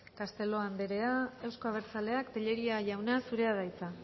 castelo andrea euzko abertzaleak tellería jauna zurea da hitza